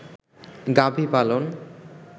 গাভী পালন